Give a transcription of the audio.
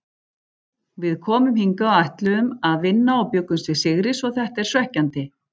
Við komum hingað og ætluðum að vinna og bjuggumst við sigri svo þetta er svekkjandi.